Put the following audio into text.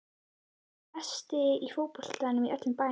Sá besti í fótbolta í öllum bænum.